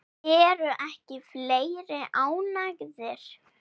Eru ekki fleiri ánægðir?